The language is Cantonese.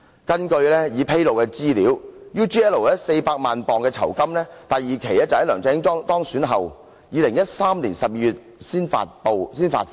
根據已披露的資料 ，UGL 給他400萬英鎊酬金，第二期款項在梁振英當選後，即2013年12月才發放。